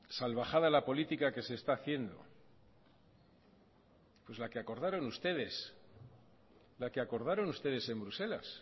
salvajada la política que se está haciendo pues la que acordaron ustedes en bruselas